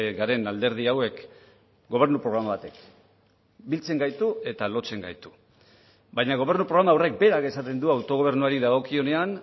garen alderdi hauek gobernu programa batek biltzen gaitu eta lotzen gaitu baina gobernu programa horrek berak esaten du autogobernuari dagokionean